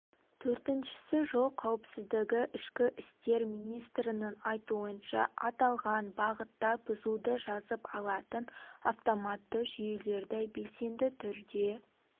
төртіншісі жол қауіпсіздігі ішкі істер министрінің айтуынша аталған бағытта бұзуды жазып алатын автоматты жүйелерді белсенді түрде